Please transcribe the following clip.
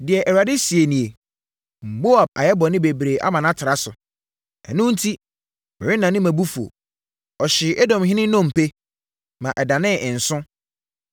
Deɛ Awurade seɛ nie: “Moab ayɛ bɔne bebree ama no atra so, ɛno enti, merennane mʼabufuo. Ɔhyee Edomhene nnompe, ma ɛdanee nsõ.